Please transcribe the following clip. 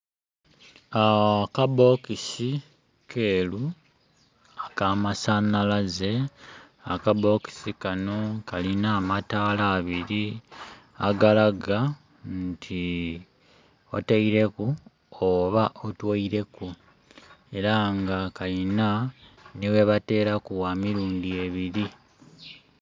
Akabokisi keru aka masanhalaze akabokisi kano kalina amataala abiri agalaga nti oteireku oba otweireku era nga kalina ghebateraku gha mirundhi ebiri.